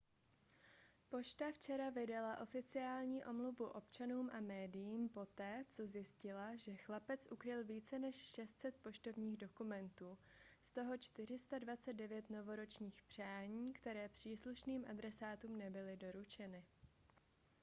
pošta včera vydala oficiální omluvu občanům a médiím poté co zjistila že chlapec ukryl více než 600 poštovních dokumentů z toho 429 novoročních přání které příslušným adresátům nebyly doručeny